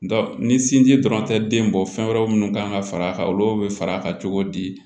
ni sinji dɔrɔn tɛ den bɔ fɛn wɛrɛ munnu kan ka far'a kan olu be far'a kan cogo di